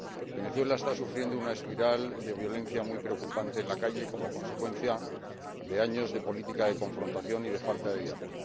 Venezuela está sufriendo una espiral de violencia muy preocupante en la calle como consecuencia de años de política de confrontación y de falta de diálogo.